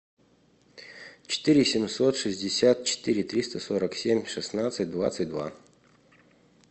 четыре семьсот шестьдесят четыре триста сорок семь шестнадцать двадцать два